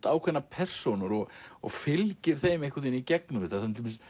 ákveðnar persónur og og fylgir þeim einhvern veginn í gegnum þetta